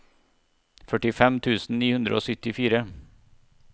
førtifem tusen ni hundre og syttifire